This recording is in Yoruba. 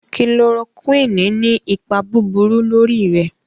Kílóròkùíni ni ìpà búburú lọ́rí rè.